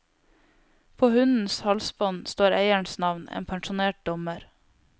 På hundens halsbånd står eierens navn, en pensjonert dommer.